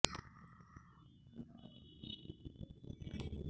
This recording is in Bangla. আর রিপনের পক্ষে অংশ নেন রাষ্ট্র নিয়োজিত আইনজীবী মো